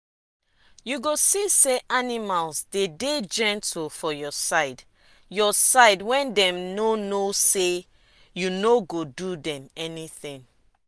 you go see say animal dey dey gentle for your side your side wen dem no know say you no go do dem anything.